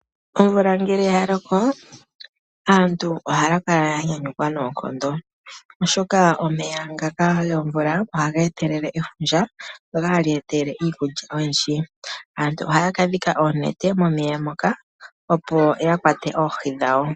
Omvula ngele ya loko aantu ohaya kala ya yanyukwa noonkondo oshoka omeya ngaka gomvula ohaga etelele efundja ndoka hali etelele iikulya oyindji . Aantu ohaya kadhika oonete momeya moka opo ya kwate oohi dhawo.